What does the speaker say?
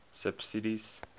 subsidies